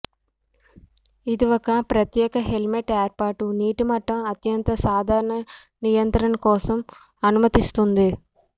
ఈ ఒక ప్రత్యేక హైలైట్ ఏర్పాటు నీటిమట్టం అత్యంత సాధారణ నియంత్రణ కోసం అనుమతిస్తుంది